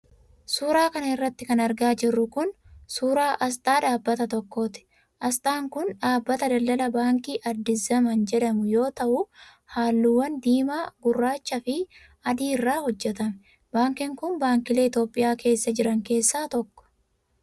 Suura kana irratti kan argaa jirru kun ,suura asxaa dhaabbata tokkooti. Asxaan kun dhaabbata daldalaa baankii Addis Zaman jedhamu yoo ta'u, haalluuwwan diimaa ,gurraacha fi adii irraa hojjatame. Baankiin kun, baankilee Itoophiyaa keessa jiran keessaa tokko.